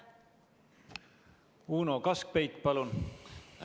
Uno Kaskpeit, palun!